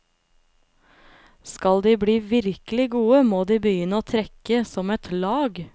Skal de bli virkelig gode, må de begynne å trekke som et lag.